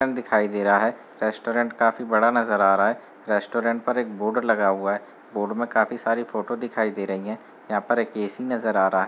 दुकान दिखाई दे रहा हैं रेस्टोरेंट काफी बड़ा नजर आ रहा हैं रेस्टोरेंट पे एक बोर्ड लगा हुआ है | बोर्ड में काफी सारी फोटो दिखाई दे रही हैं यहाँ पर एक एसी नजर आ रहा है |